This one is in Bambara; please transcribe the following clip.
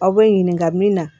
Aw bɛ ɲininka min na